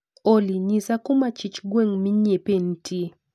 Olly, nyisa kuma chich gweng' minyiepe ntie